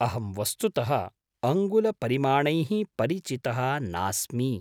अहं वस्तुतः अङ्गुलपरिमाणैः परिचितः नास्मि।